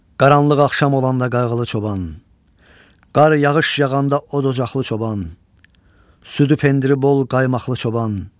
Qaranlıq axşam olanda qayğılı çoban, qar yağış yağanda odocaqlı çoban, südü pendiri bol qaymaqlı çoban.